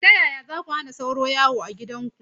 Ta yaya za ku hana sauro yawo a gidanku?